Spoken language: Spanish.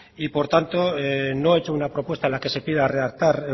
y por tanto no he hecho una propuesta en la que se pida redactar